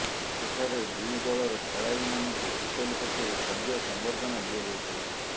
ସେଠାରେ ଦୁଇ ଦଳର ଖେଳାଳିମାନଙ୍କୁ ହୋଟେଲ ପକ୍ଷରୁ ଭବ୍ୟ ସମ୍ବର୍ଦ୍ଧନା ଦିଆଯାଇଥିଲା